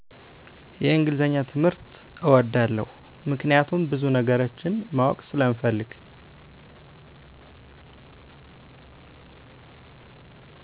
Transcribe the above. የእንግሊዘኛ ትምህርት እወደዋለሁ ምክኒያቱም ብዙነገሮችን ማወቅ ስለምፈልግ